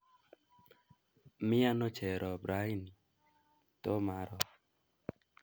Miano Cherop raini ? Tomaro